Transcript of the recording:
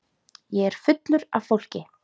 Ég er fullur af fólki.